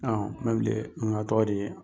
n ka tɔgɔ de ye.